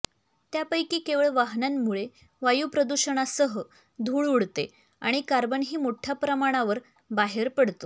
त्यापैकी केवळ वाहनांमुळे वायूप्रदूषणासह धूळ उडते आणि कार्बनही मोठ्या प्रमाणावर बाहेर पडतो